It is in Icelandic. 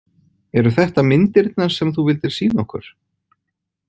Eru þetta myndirnar sem þú vildir sýna okkur?